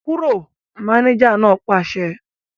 Kúrò! Mánéjà náà pàṣẹ